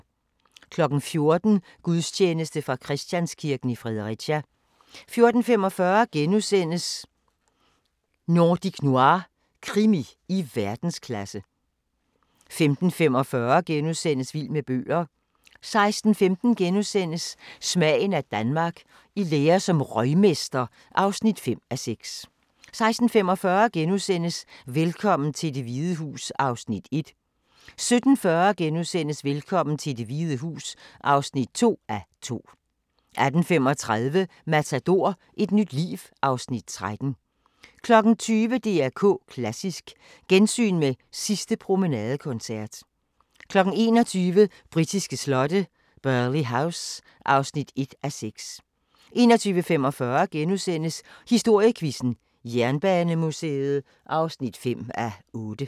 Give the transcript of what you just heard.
14:00: Gudstjeneste fra Christianskirken, Fredericia 14:45: Nordic Noir – krimi i verdensklasse * 15:45: Vild med bøger * 16:15: Smagen af Danmark – I lære som røgmester (5:6)* 16:45: Velkommen til Det Hvide Hus (1:2)* 17:40: Velkommen til Det Hvide Hus (2:2)* 18:35: Matador - et nyt liv (Afs. 13) 20:00: DR K Klassisk: Gensyn med den sidste promenadekoncert 21:00: Britiske slotte: Burghley House (1:6) 21:45: Historiequizzen: Jernbanemuseet (5:8)*